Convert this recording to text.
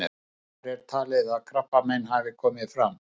Hvenær er talið að krabbamein hafi komið fram?